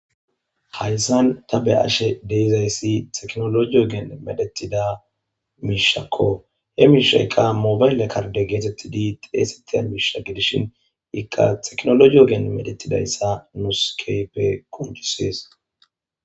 hayssan ta be7ashe deizayssi teknologiyo geen medetida miishakko he miishayqa mobayle karde geetettidi xeesetiya miisha gidishin iqqa xeknologiyo geen medetidayssa nuskeype koncisees